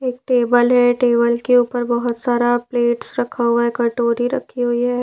एक टेबल है टेबल के ऊपर बहुत सारा प्लेट्स रखा हुआ है कटोरी रखी हुई है।